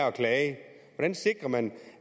at klage hvordan sikrer man